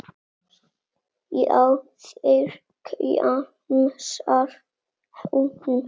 Já, þeir, kjamsar hún.